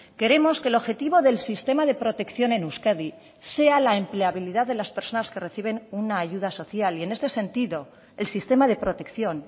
queremos que el objetivo del sistema de protección en euskadi sea la empleabilidad de las personas que reciben una ayuda social y en este sentido el sistema de protección